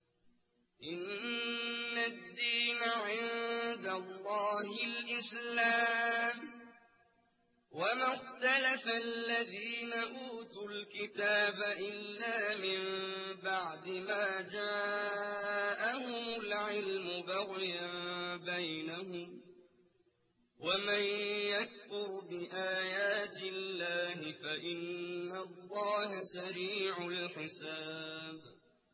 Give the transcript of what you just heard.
إِنَّ الدِّينَ عِندَ اللَّهِ الْإِسْلَامُ ۗ وَمَا اخْتَلَفَ الَّذِينَ أُوتُوا الْكِتَابَ إِلَّا مِن بَعْدِ مَا جَاءَهُمُ الْعِلْمُ بَغْيًا بَيْنَهُمْ ۗ وَمَن يَكْفُرْ بِآيَاتِ اللَّهِ فَإِنَّ اللَّهَ سَرِيعُ الْحِسَابِ